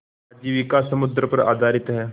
आजीविका समुद्र पर आधारित है